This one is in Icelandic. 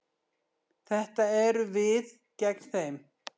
Þetta eru við gegn þeim.